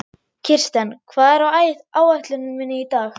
Kirsten, hvað er á áætluninni minni í dag?